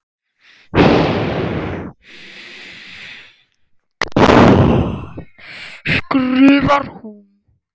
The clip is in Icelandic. skrifar hún.